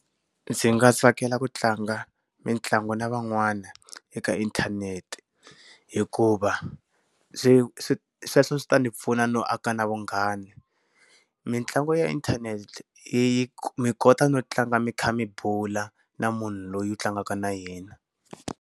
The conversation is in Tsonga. Ndzi nga tsakela ku tlanga mitlangu na van'wana eka inthanete. Hikuva, swi sweswo swi ta ndzi pfuna no aka na vunghana. Mintlangu ya inthanete yi yi mi kota no tlanga mi kha mi bula na munhu loyi u tlangaka na yena.